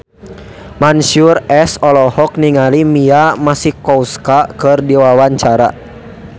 Mansyur S olohok ningali Mia Masikowska keur diwawancara